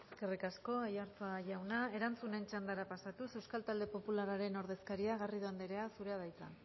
eskerrik asko aiartza jauna erantzunen txandara pasatuz euskal talde popularraren ordezkaria garrido anderea zurea da hitza